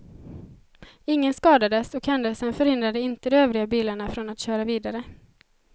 Ingen skadades och händelsen förhindrade inte de övriga bilarna från att köra vidare.